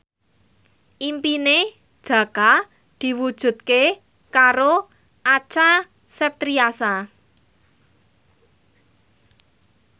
impine Jaka diwujudke karo Acha Septriasa